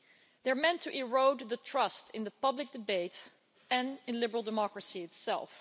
They're meant to erode the trust in the public debate and in liberal democracy itself.